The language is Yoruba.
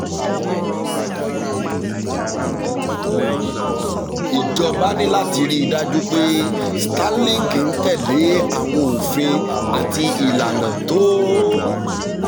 ìjọba ní láti rí i dájú pé starlink ń tẹ̀ lé àwọn òfin àti ìlànà tó